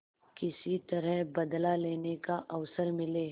किसी तरह बदला लेने का अवसर मिले